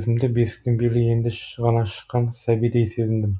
өзімді бесіктен белі енді ғана шыққан сәбидей сезіндім